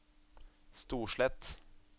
Storslett